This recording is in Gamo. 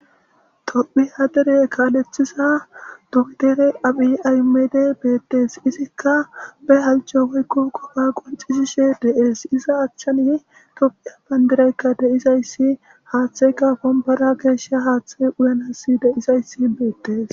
Tophi hadere kaalethisa dugidere aphi aymede beettees izikka be halco woykko koba qonxisishe de'ees iza achchanyi tophiya bandiraykka deisayssi haaththeyka pombara geeshsha haaththe uyanasi deisayssi beettes.